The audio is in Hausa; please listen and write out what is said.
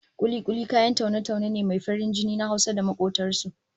Kuli-kuli kayan taune-taune ne mai farin jini na Hausa da makobtan su